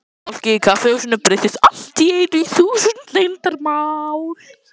Fólkið í kaffihúsinu breyttist allt í einu í þúsund leyndarmál.